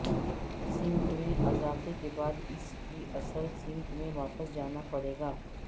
سمت میں اضافے کے بعد اس کی اصل سمت میں واپس جانا پڑے گا